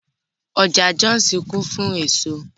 Ọjà Jọ́òsì kún fún èso